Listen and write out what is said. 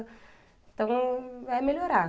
Então, é melhorar.